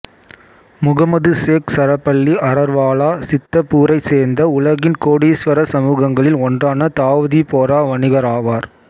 முகமது சேக் சரபல்லி அரர்வாலா சித்தபூரைச் சேர்ந்த உலகின் கோடீஸ்வர சமூகங்களில் ஒன்றான தாவூதி போரா வணிகர் ஆவார்